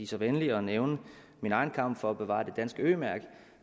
så venlig at nævne min egen kamp for at bevare det danske ø mærke